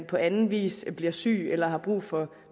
på anden vis bliver syg eller har brug for